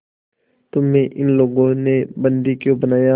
तुम्हें इन लोगों ने बंदी क्यों बनाया